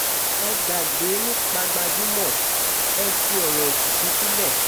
ẹ gbàgbé nípa gbajúmọ̀ ẹ̀ fi ọ̀rọ̀ òkìkí sílẹ̀